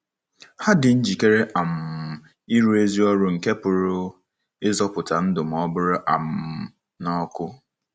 Ha dị njikere um ịrụ ezi ọrụ nke pụrụ ịzọpụta ndụ ma ọ bụrụ um na ọkụ.